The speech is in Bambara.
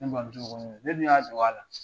Ne mɔmuso ko ne don, ne dun y'a dog'a la.